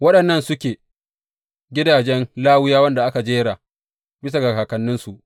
Waɗannan suke gidajen Lawiyawan da aka jera bisa ga kakanninsu.